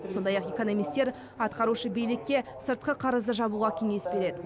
сондай ақ экономистер атқарушы билікке сыртқы қарызды жабуға кеңес береді